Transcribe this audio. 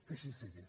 que així sigui